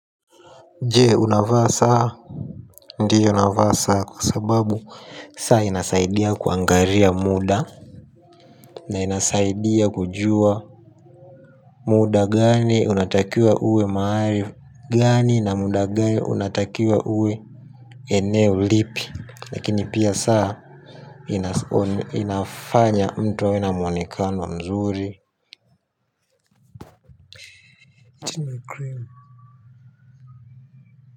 Jee unavaa saa ndio navaa saa kwa sababu saa inasaidia kuangaria muda na inasaidia kujua muda gani unatakiwa uwe maari gani na muda gani unatakiwa uwe eneo lipi lakini pia saa inafanya mtu awe na mwonekano mzuri.